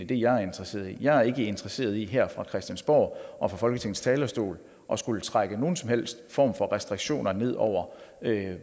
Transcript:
det jeg er interesseret i jeg er ikke interesseret i her fra christiansborg og fra folketingets talerstol at skulle trække nogen som helst form for restriktioner ned over